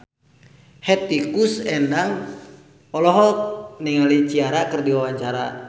Hetty Koes Endang olohok ningali Ciara keur diwawancara